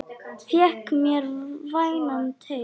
Fékk mér vænan teyg.